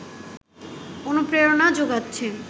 অনুপ্রেরণা জোগাচ্ছে